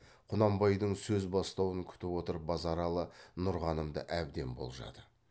құнанбайдың сөз бастауын күтіп отырып базаралы нұрғанымды әбден болжады